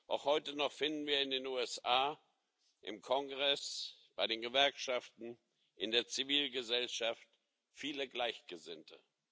Auch heute noch finden wir in den USA im Kongress, bei den Gewerkschaften, in der Zivilgesellschaft viele Gleichgesinnte.